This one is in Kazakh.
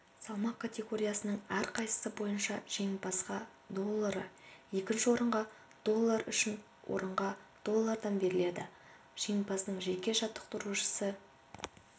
салмақ категориясының әрқайсысы бойынша жеңімпазға доллары екінші орынға доллар үшінші орынға доллардан беріледі жеңімпаздың жеке жаттықтырушысы